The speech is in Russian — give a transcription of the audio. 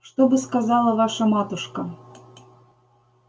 что бы сказала ваша матушка